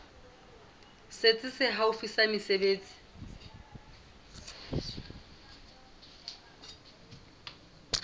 setsi se haufi sa mesebetsi